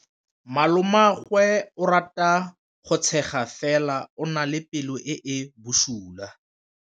Malomagwe o rata go tshega fela o na le pelo e e bosula.